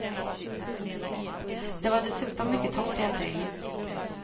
Det var dessutom mycket torrt i april.